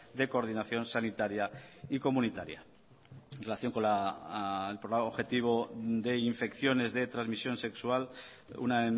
de coordinación sanitaria y comunitaria en relación con el programa objetivo de infecciones de transmisión sexual una